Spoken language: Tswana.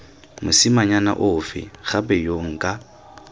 mosimanyana ofe gape yo nka